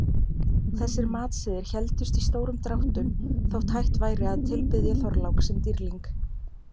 Þessir matsiðir héldust í stórum dráttum þótt hætt væri að tilbiðja Þorlák sem dýrling.